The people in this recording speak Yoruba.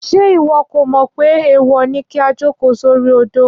Ṣé ìwọ kò mò pé èèwò ní kí a jòkó sori odó